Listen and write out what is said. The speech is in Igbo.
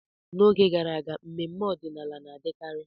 N'oge gara aga, mmemme ọdịnala na-adịkarị.